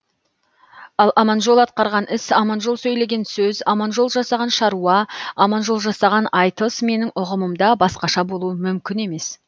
ал аманжол атқарған іс аманжол сөйлеген сөз аманжол жасаған шаруа аманжол жасаған айтыс менің ұғымымда басқаша болуы мүмкін емес